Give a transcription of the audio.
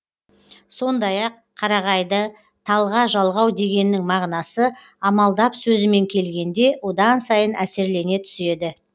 сондай ақ қарағайды талға жалғау дегеннің мағынасы амалдап сөзімен келгенде одан сайын әсерлене түседі